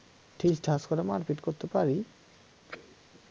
ঠিক ঠাক করে মারপিট করতে পারি